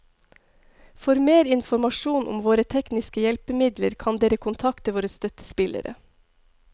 For mer informasjon om våre tekniske hjelpemidler kan dere kontakte våre støttespillere.